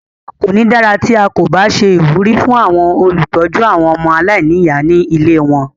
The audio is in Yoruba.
Kò ní dára tí à kò bá ṣe ìwúrí fún àwọn olùtọ́jú àwọn ọmọ aláìníyà ní ilée wọn.